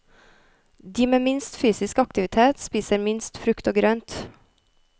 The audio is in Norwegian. De med minst fysisk aktivitet spiser minst frukt og grønt.